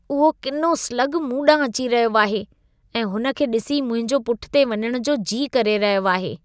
उहो किनो स्लगु मूं ॾांहुं अची रहियो आहे ऐं हुन खे डि॒सी मुंहिंजो पुठिते वञणु जो जी करे रहियो आहे।